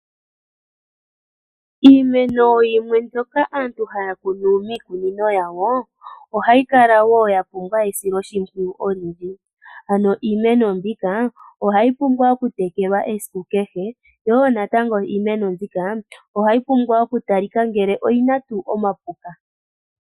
Iimeno yimwe mbyoka aantu hayi kunwa miikunino yawo, ohayi kala woo yapumbwa esilo shipwiyu olindji, ano iimeno mbika ohayi pumbwa oku tekelwa esiku kehe, yo woo natango iimeno mbika ohayi pumbwa woo oku tali ka kutya oyina omapuka.